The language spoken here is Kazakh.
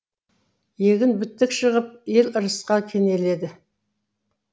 егін бітік шығып ел ырысқа кенеледі